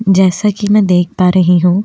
जैसा कि मैं देख पा रही हूं।